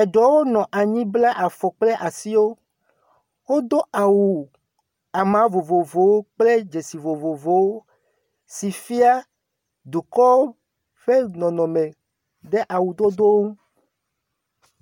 Eɖewo nɔ anyi bla afɔ kple asiwo. Wodo awu ama vovovowo kple dzesi vovovowo si fia dukɔ ƒe nɔnɔme ɖe awudodo ŋu.